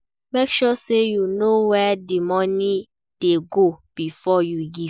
Make sure say you know where di money de go before you give